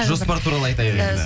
жоспар туралы айтайық енді